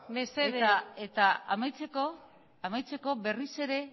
mesedez eta amaitzeko berriz ere